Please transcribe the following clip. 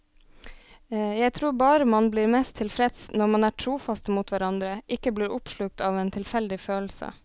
Jeg tror bare man blir mest tilfreds når man er trofaste mot hverandre, ikke blir oppslukt av en tilfeldig følelse.